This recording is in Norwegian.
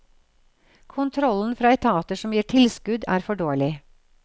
Kontrollen fra etater som gir tilskudd, er for dårlig.